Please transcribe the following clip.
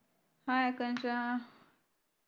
hi Akanksha